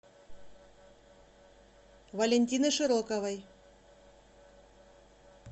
валентины широковой